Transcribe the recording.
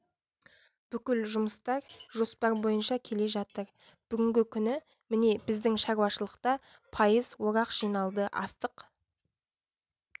бүкіл жұмыстар жоспар бойынша келе жатыр бүгінгі күні міне біздің шаруашылықта пайыз орақ жиналды астық